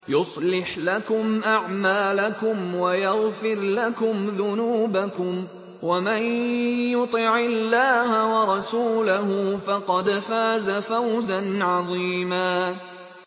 يُصْلِحْ لَكُمْ أَعْمَالَكُمْ وَيَغْفِرْ لَكُمْ ذُنُوبَكُمْ ۗ وَمَن يُطِعِ اللَّهَ وَرَسُولَهُ فَقَدْ فَازَ فَوْزًا عَظِيمًا